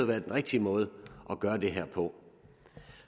været den rigtige måde at gøre det her på